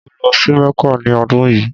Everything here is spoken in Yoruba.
Mo lọ sí Mecca ni ọ́dun yíì.